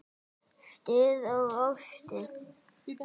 Stuð og óstuð.